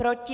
Proti?